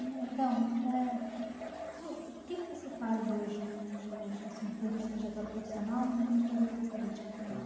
E, Adão eh, o que que você faz hoje, nos dias de hoje assim, em termos de trajetória profissional e em termos de trajetória política?